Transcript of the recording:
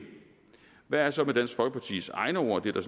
hvad er så med dansk folkepartis egne ord det der